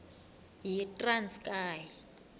yitranskayi